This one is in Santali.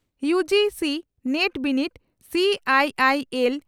ᱭᱩᱹᱡᱤᱹᱥᱤᱹ ᱱᱮᱴ ᱵᱤᱱᱤᱰ ᱥᱤᱹᱟᱭᱤᱹᱟᱭᱤᱹᱮᱞ